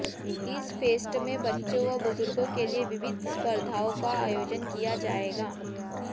इस फेस्ट में बच्चों व बुजुर्गों के लिए विविध स्पर्धाओं का आयोजन किया जाएगा